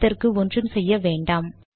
அதற்கு ஒன்றும் செய்ய வேண்டாம்